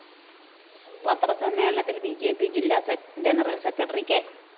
പത്രസമ്മേളനത്തില്‍ B J P ജില്ലാ general secretary K